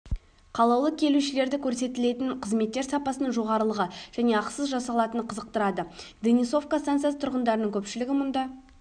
қалаулы келушілерді көрсетілетін қызметтер сапасының жоғарылығы және ақысыз жасалатыны қызықтырады денисовка станциясы тұрғындарының көпшілігі мұнда